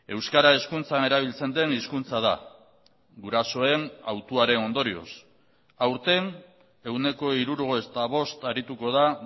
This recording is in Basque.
euskara hezkuntzan erabiltzen den hizkuntza da gurasoen hautuaren ondorioz aurten ehuneko hirurogeita bosta arituko da